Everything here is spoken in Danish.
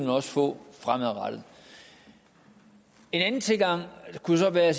også få fremadrettet en anden tilgang kunne så være at